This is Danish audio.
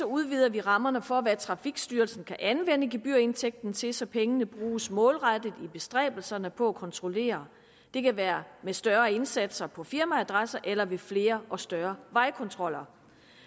udvider vi rammerne for hvad trafikstyrelsen kan anvende gebyrindtægten til så pengene bruges målrettet i bestræbelserne på at kontrollere det kan være med større indsatser på firmaadresser eller ved flere og større vejkontroller